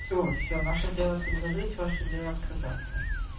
все все наше дело предложить ваше дело отказаться